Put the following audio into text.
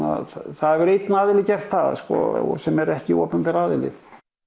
það hefur einn aðili gert það sem er ekki opinber aðili